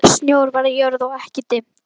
Snjór var á jörð og ekki dimmt.